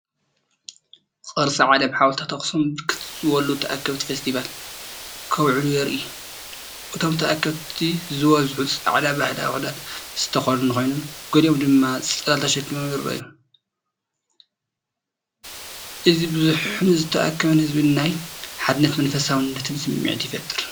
ቅርሲ ዓለም ሓወልትታት ኣክሱም ብርክት ዝበሉ ተኣከብቲ ፈስቲቫል ከብዕሉ የርኢ። እቶም ተኣከብቲ ዝበዝሑ ጻዕዳ ባህላዊ ክዳን ዝተኸድኑ ኮይኖም፡ ገሊኦም ድማ ጽላል ተሰኪሞም ይረኣዩ። እዚ ብዙሕን ዝተኣከበን ህዝቢ ናይ ሓድነትን መንፈሳውነትን ስምዒት ይፈጥር።